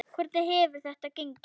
Hvernig hefur þetta gengið?